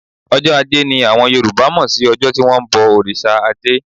Ọjọ́ ajé ni àwọn Yorùbá mọ̀ sí ọjọ́ tí wón ń bọ òrìṣà ajé.